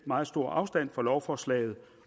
meget stor afstand fra lovforslaget